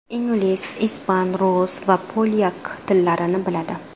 Ingliz, ispan, rus va polyak tillarini biladi.